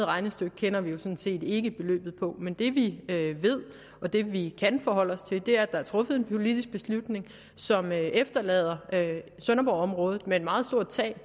regnestykke kender vi jo sådan set ikke men det vi ved og det vi kan forholde os til er at der er truffet en politisk beslutning som efterlader sønderborgområdet med et meget stort tab